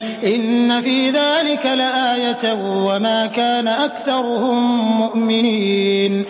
إِنَّ فِي ذَٰلِكَ لَآيَةً ۖ وَمَا كَانَ أَكْثَرُهُم مُّؤْمِنِينَ